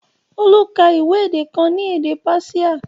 Olu ka ìwé èdè kan ní èdè Páṣíà